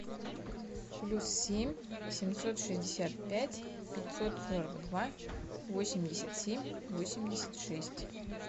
плюс семь семьсот шестьдесят пять пятьсот сорок два восемьдесят семь восемьдесят шесть